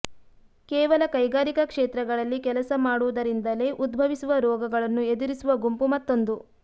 ಕೇವಲ ಕೈಗಾರಿಕಾ ಕ್ಷೇತ್ರಗಳಲ್ಲಿ ಕೆಲಸ ಮಾಡುವುದರಿಂದಲೇ ಉದ್ಭವಿಸುವ ರೋಗಗಳನ್ನು ಎದುರಿಸುವ ಗುಂಪು ಮತ್ತೊಂದು